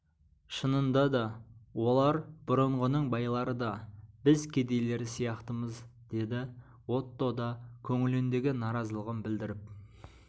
шынында да олар бұрынғының байлары да біз кедейлері сияқтымыз деді отто да көңіліндегі наразылығын білдіріп